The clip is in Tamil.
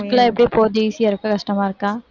work எல்லாம் எப்படி போகுது easy யா இருக்கா கஷ்டமா இருக்கா?